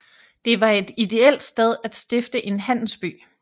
Det var et ideelt sted at stifte en handelsby